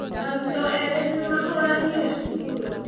Arutwo erĩ nĩ mahũranire cukuru.